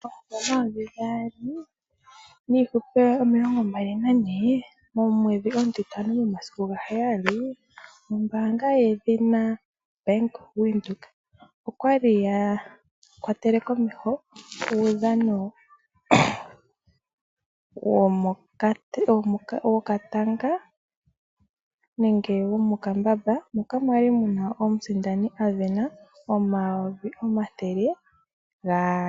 Omumvo 2024-05-07 ombaanga yaBank Windhoek okwali ya kwatele komeho uudhano wokatanga nenge womokambamba moka mwali muna omusindani asinda N$200 000.